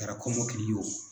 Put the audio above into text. Kɛra kɔmɔkili ye o.